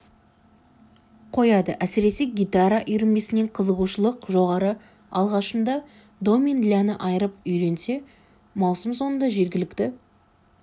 қояды әсіресе гитара үйірмесіне қызығушылық жоғары алғашында до мен ля-ны айырып үйренсе маусым соңында жергілікті